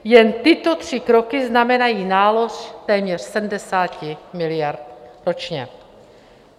Jen tyto tři kroky znamenají nálož téměř 70 miliard ročně.